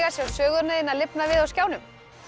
sjá söguna þína lifna við á skjánum það